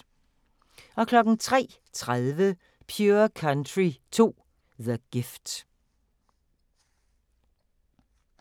03:30: Pure Country 2: The Gift